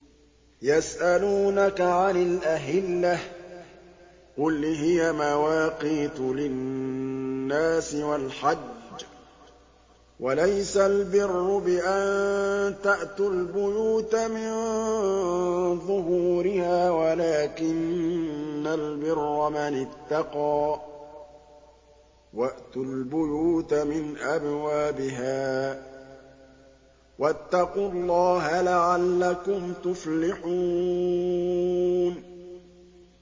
۞ يَسْأَلُونَكَ عَنِ الْأَهِلَّةِ ۖ قُلْ هِيَ مَوَاقِيتُ لِلنَّاسِ وَالْحَجِّ ۗ وَلَيْسَ الْبِرُّ بِأَن تَأْتُوا الْبُيُوتَ مِن ظُهُورِهَا وَلَٰكِنَّ الْبِرَّ مَنِ اتَّقَىٰ ۗ وَأْتُوا الْبُيُوتَ مِنْ أَبْوَابِهَا ۚ وَاتَّقُوا اللَّهَ لَعَلَّكُمْ تُفْلِحُونَ